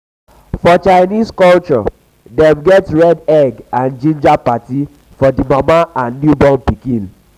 for chinese culture dem get red egg and ginger parti for di mama and newborn pikin